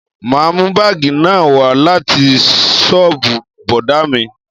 Ma mú bagi náà wá láti soobu bọ̀dá mi